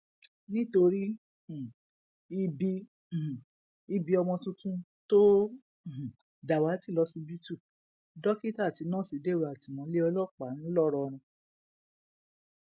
nítorí um ibi um ibi ọmọ tuntun tó um dàwátì lọsibítù dókítà àti nọọsì dèrò àtìmọlé ọlọpàá ńlọrọrìn